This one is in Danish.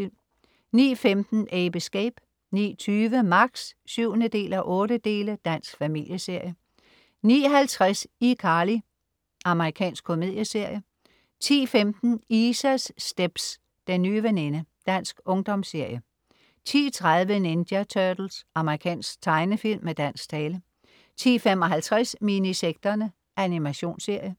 09.15 Ape Escape 09.20 Max 7:8. Dansk familieserie 09.50 iCarly. Amerikansk komedieserie 10.15 Isas stepz. Den nye veninde. Dansk ungdomsserie 10.30 Ninja Turtles. Amerikansk tegnefilm med dansk tale 10.55 Minisekterne. Animationsserie